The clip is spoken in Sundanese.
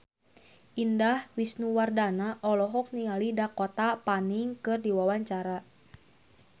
Indah Wisnuwardana olohok ningali Dakota Fanning keur diwawancara